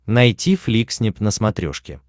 найти фликснип на смотрешке